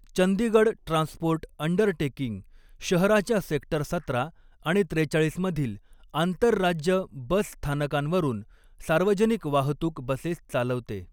Chandigarh transport undertaking, शहराच्या sector सतरा आणि त्रेचाळीस मधील आंतरराज्य बस स्थानकांवरून सार्वजनिक वाहतूक बसेस चालवते.